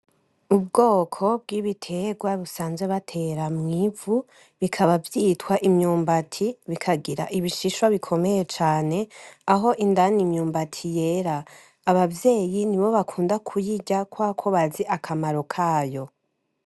Ubwoko bw'ibiterwa busanzwe batera mw'ivu bikaba vyitwa imyumbati bikagira ibishishwa bikomeye cane aho indane imyumbati yera abavyeyi ni bo bakunda kuyira kw ako bazi akamaro kayo.